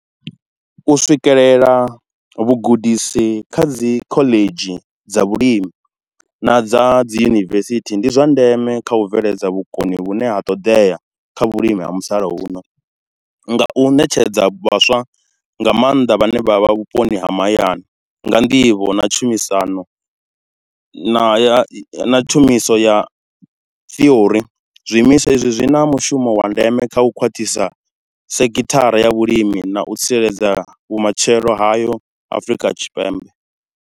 U swikelela vhugudisi kha dzi khoḽedzhi dza vhulimi na dza dzi yunivesithi ndi zwa ndeme kha u bveledza vhukoni vhune ha ṱodea, kha vhulimi ha musalauno. Nga u netshedza vhaswa nga maanḓa vhane vha vha vhuponi ha mahayani, nga nḓivho na tshumisano na na ya na tshumiso ya ṱhiori. Zwiimiswa izwi zwi na mushumo wa ndeme kha u khwaṱhisa sekithara ya vhulimi na u tsireledza vhumatshelo hayo Afrika Tshipembe.